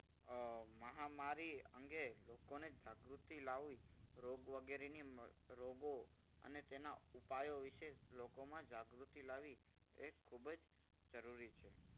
અમ મહામારી અંગે લોકોને જાગૃતિ લાવી રોગ વગેરેની રોગો અને તેના ઉપાયો વિશે લોકોમા જાગૃતિ લાવી એ ખૂબ જ જરૂરી છે.